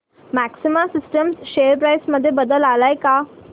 maxima systems share price मध्ये बदल आलाय का